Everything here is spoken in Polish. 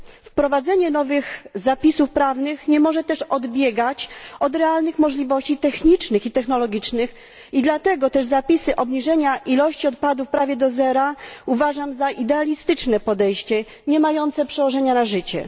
Wprowadzenie nowych zapisów prawnych nie może też odbiegać od realnych możliwości technicznych i technologicznych i dlatego też zapisy obniżenia ilości odpadów prawie do zera uważam za idealistyczne podejście, niemające przełożenia na życie.